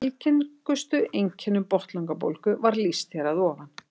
Algengustu einkennum botnlangabólgu var lýst hér að ofan.